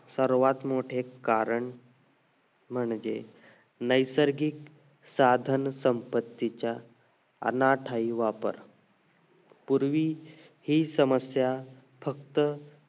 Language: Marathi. सर्वात मोठे कारण म्हणजे नैसर्गिक साधन संपत्तीच्या अनादर वापर पूर्वी हि समस्या फक्त